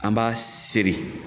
An b'a seri